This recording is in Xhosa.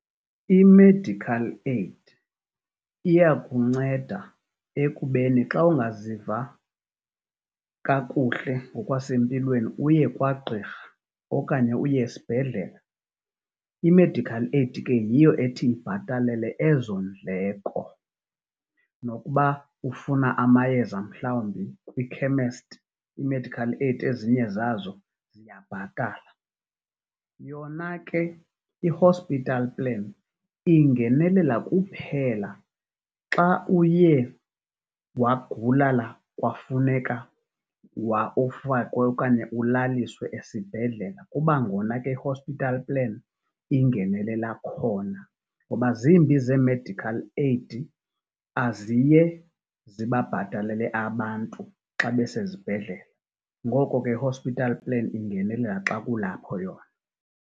I-medical aid iyakunceda ekubeni xa ungaziva kakuhle ngokwasempilweni uye kwagqirha okanye uye esibhedlela. I-medical aid ke yiyo ethi ibhatalele ezo ndleko nokuba ufuna amayeza mhlawumbi kwikhemesti iimedical aid ezinye zazo ziyabhatala. Yona ke ihospital plan ingenelela kuphela xa uye wagulala kwafuneka ufakwe okanye ulaliswe esibhedlela kuba ngona i-hospital plan ingenelela khona, ngoba zimbi zee-medical aid aziye zibabhatalele abantu xa besezibhedlela. Ngoko ke, i-hospital plan ingenelela xa kulapho yona.